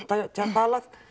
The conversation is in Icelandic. talað